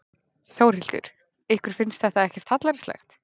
Þórhildur: Ykkur finnst þetta ekkert hallærislegt?